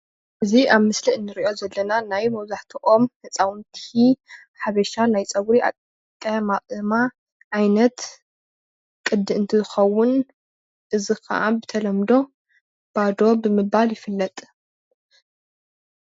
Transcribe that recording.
እዚ ኣብ ምስሊ እንሪኦ ዘለና ናይ መብዛሕትኦም ህፃውንቲ ሓበሻ ናይ ፀጉሪ ኣቀማቕማ ዓይነት ቅዲ እንትኸውን እዚ ካዓ ብተለምዶ ባዶ ብምባል ይፍለጥ።